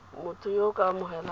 motho yo o ka amogelang